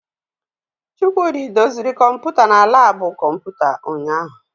Chukwudi doziri kọmpụta na labu kọmputa ụnyaahụ.